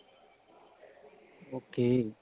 okay